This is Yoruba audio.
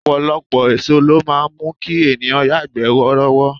Ọ̀pọ̀lọpọ̀ èso ló máa ń mú kí ènìyàn yagbe worowo.